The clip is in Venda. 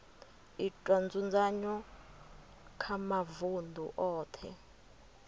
itwa nzudzanyo kha mavunḓu oṱhe